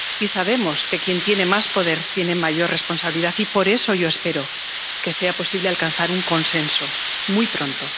Y sabemos que quien tiene más poder, tiene mayor responsabilidad y, por eso, yo espero que sea posible alcanzar un consenso muy pronto.